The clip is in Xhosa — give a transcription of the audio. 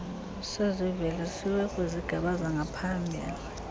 sezivelisiwe kwizigaba zangaphambili